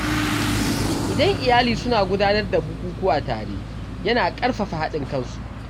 Idan iyali suna gudanar da bukukuwa tare, yana ƙarfafa haɗin kansu.